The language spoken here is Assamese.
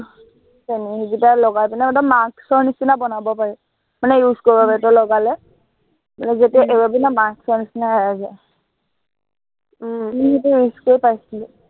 তেনেকে সেইকেইটা লগাই কেনে মনে একদম mask ৰ নিচিনা বনাব পাৰি। মানে প্ৰলেপটো লগত লগালে আৰু যেতিয়া এৰাবি না, mask ৰ নিচিনা এৰাই যায়। মই সেইটো use কৰি পাইছিলো